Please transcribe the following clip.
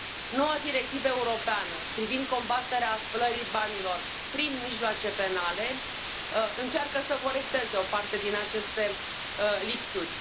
Noua directivă europeană privind combaterea spălării banilor prin mijloace penale încearcă să corecteze o parte din aceste lipsuri.